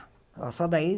Só daí